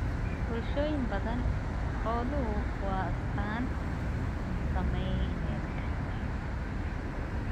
Bulshooyin badan, xooluhu waa astaan ??saamayneed.